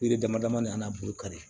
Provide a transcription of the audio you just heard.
Yiri dama dama de a n'a burukari